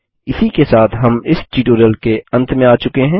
इसी के साथ हम इस ट्यूटोरियल के अंत में आ चुके हैं